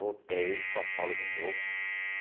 Voltei, São Paulo de novo.